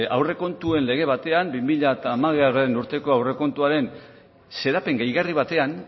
aurrekontuen lege batean bi mila hamabigarrena urteko aurrekontuaren xedapen gehigarri batean